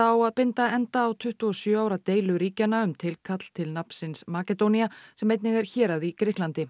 á að binda enda á tuttugu og sjö ára deilu ríkjanna um tilkall til nafnsins Makedónía sem einnig er hérað í Grikklandi